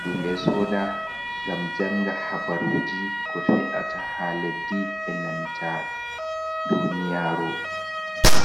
himɓe sooda ngam janga habaruuji ko fe’ata ha leddi, e nanta duniyaru.